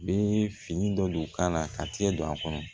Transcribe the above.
Bi fini dɔ don k'a la ka tigɛ don a kɔnɔ